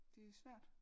Det er svært